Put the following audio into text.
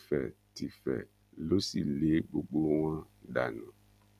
tẹfẹtìfẹ ló sì lé gbogbo wọn dànù